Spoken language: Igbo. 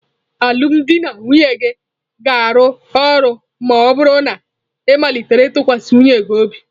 Alụmdi na nwunye gị ga-arụ ọrụ ma ọ bụrụ na ị malite ịtụkwasị nwunye gị obi.